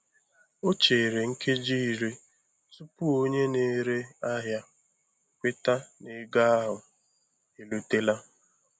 O chere nkeji iri tupu onye na-ere ahịa kweta na ego ahụ erutela.